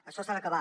això s’ha d’acabar